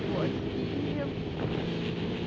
вот ии